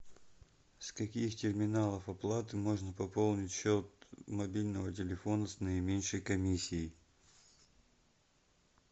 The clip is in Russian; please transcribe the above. с каких терминалов оплаты можно пополнить счет мобильного телефона с наименьшей комиссией